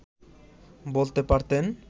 বলতে পারতেন